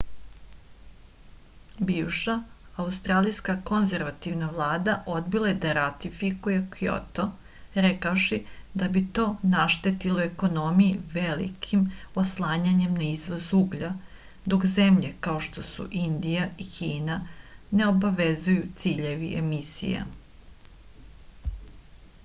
bivša australijska konzervativna vlada odbila je da ratifikuje kjoto rekavši da bi to naštetilo ekonomiji velikim oslanjanjem na izvoz uglja dok zemlje kao što su indija i kina ne obavezuju ciljevi emisije